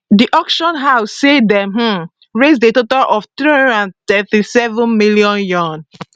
di auction house say dem um raised a total of 337m yuan